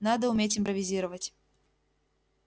надо уметь импровизировать